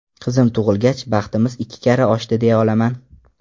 Qizim tug‘ilgach, baxtimiz ikki karra oshdi deya olaman.